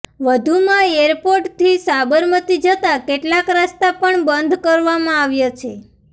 વધુમાં એરપોર્ટથી સાબરમતી જતા કેટલાક રસ્તા પણ બંધ કરવામાં આવ્યા છે